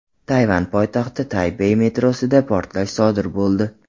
Tayvan poytaxti Taybey metrosida portlash sodir bo‘ldi.